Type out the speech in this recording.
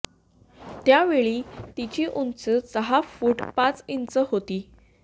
त्या वेळी तिची उंची सहा फूट पाच इंच होती